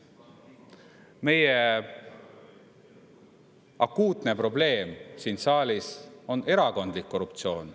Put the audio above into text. Meie akuutne probleem siin saalis on erakondlik korruptsioon.